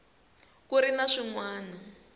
ku ri na swin wana